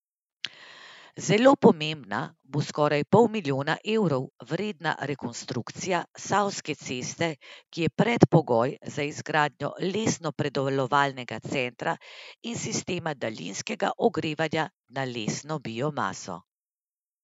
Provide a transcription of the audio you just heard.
Zelo pomembna bo skoraj pol milijona evrov vredna rekonstrukcija Savske ceste, ki je predpogoj za izgradnjo lesno predelovalnega centra in sistema daljinskega ogrevanja na lesno biomaso.